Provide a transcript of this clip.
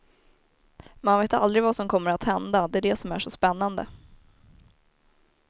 Man vet aldrig vad som kommer att hända, det är det som är så spännande.